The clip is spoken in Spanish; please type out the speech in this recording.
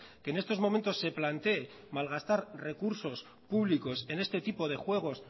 que en estos momentos se plantee malgastar recursos públicos en este tipo de juegos